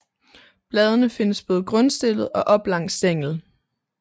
Bladene findes både grundstillet og op langs stænglen